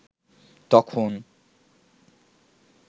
তখন